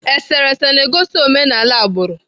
Eserese na-egosi omenala agbụrụ.